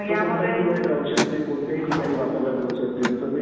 आहे आणि तसं तर आपल्या देशात बऱ्याच वर्षांपासून होत आहे.